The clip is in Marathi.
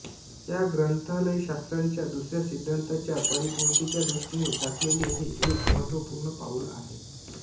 या ग्रंथालयशास्त्राच्या दुसऱ्या सिद्धांताच्या परिपूर्तीच्या दृष्टीने टाकलेले हे एक महत्त्वपूर्ण पाऊल आहे